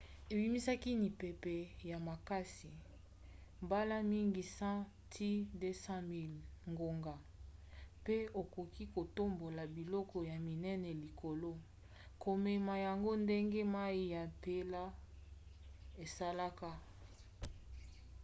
ebimisaka mipepe ya makasi mbala mingi 100-200 miles/ngonga pe ekoki kotombola biloko ya minene likolo komema yango ndenge mai ya mpela esalaka